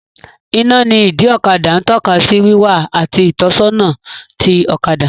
Iná ní ìdí ọkadà ń tọ́ka sí wíwá àti ìtọ́sọ́nà ti ọ̀kadà